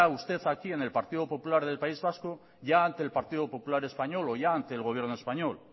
usted aquí en el partido polular del país vasco ya ante el partido popular español o ya ante el gobierno español